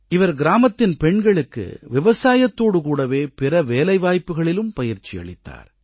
அவர் கிராமத்தின் பெண்களுக்கு விவசாயத்தோடு கூடவே பிற வேலைவாய்ப்புகளிலும் பயிற்சி அளித்தார்